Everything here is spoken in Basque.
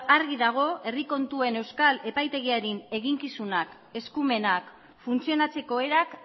argi dago herri kontuen euskal epaitegiaren eginkizunak eskumenak funtzionatzeko erak